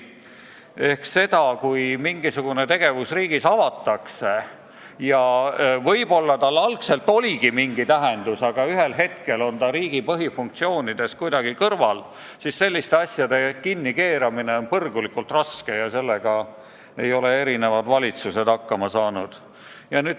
Kui riigis on käivitatud mingisugune puuktegevus, millel võib-olla algselt oligi mingi mõte, siis kui see ühel hetkel on riigi põhifunktsioonidest kuidagi kõrvale kaldunud, siis selliste asjade kinnikeeramine on põrgulikult raske ja sellega ei ole eri valitsused hakkama saanud.